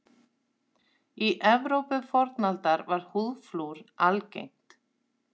Í Evrópu fornaldar var húðflúr algengt.